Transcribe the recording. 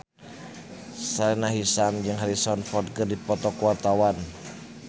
Sahila Hisyam jeung Harrison Ford keur dipoto ku wartawan